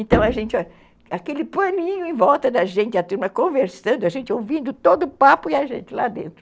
Então, aquele paninho em volta da gente, a turma conversando, a gente ouvindo todo o papo e a gente lá dentro.